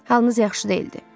Halınız yaxşı deyildi.